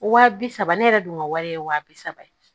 Wa bi saba ne yɛrɛ dun ka wari ye wa bi saba ye